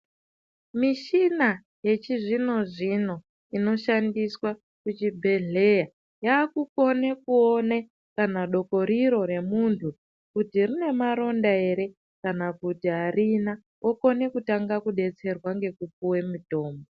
Mishina yechizvino zvino inoshandiswe muchibhedhleya yakukone kuone kana dokoriro remunhu kuti rine maronda ere kana kuti arina okone kutanga kudetserwa ngekupuwe mitomu